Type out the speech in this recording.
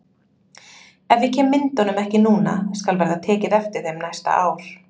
Ef ég kem myndunum ekki núna skal verða tekið eftir þeim næsta ár.